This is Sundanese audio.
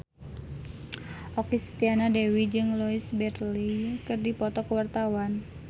Okky Setiana Dewi jeung Louise Brealey keur dipoto ku wartawan